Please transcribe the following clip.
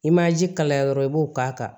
I ma ji kalaya dɔrɔn i b'o k'a kan